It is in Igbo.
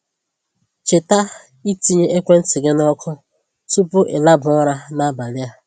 Cheta ịtinye ekwentị gị na ọkụ tupu i laba ụra n'abalị a.